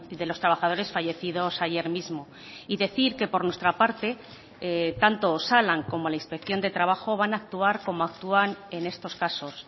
de los trabajadores fallecidos ayer mismo y decir que por nuestra parte tanto osalan como la inspección de trabajo van a actuar como actúan en estos casos